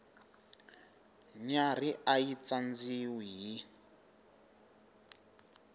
nyarhi a yi tsandziwi hi